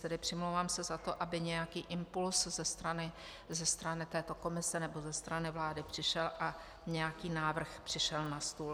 Tedy přimlouvám se za to, aby nějaký impuls ze strany této komise nebo ze strany vlády přišel a nějaký návrh přišel na stůl.